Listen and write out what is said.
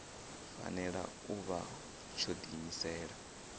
fanela u vha tsho diimisela